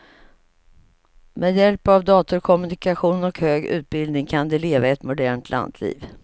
Med hjälp av datorkommunikation och hög utbildning kan de leva ett modernt lantliv.